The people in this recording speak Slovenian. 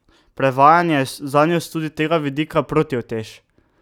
Prevajanje je zanjo tudi s tega vidika protiutež.